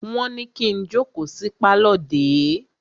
Wọ́n ní kí n jókòó sí pálọ̀ dè é!